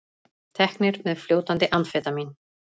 Teknir með fljótandi amfetamín